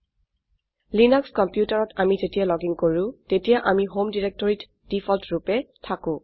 Linux কম্পিউটাৰত আমি যেতিয়া লগিন কৰো তেতিয়া আমি হোম directoryত দেফল্ট ৰুপে থাকো